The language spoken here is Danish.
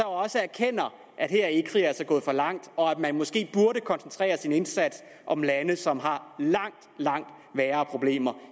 også erkender at her er ecri altså gået for langt og at man måske burde koncentrere sin indsats om lande som har langt langt værre problemer